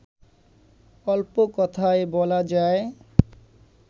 অল্প কথায় বলা যায়